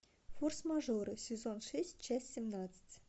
форс мажоры сезон шесть часть семнадцать